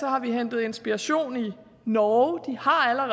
har vi hentet inspiration i norge de har